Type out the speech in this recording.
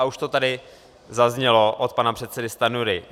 A už to tady zaznělo od pana předsedy Stanjury.